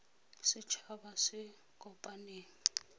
set haba se se kopaneng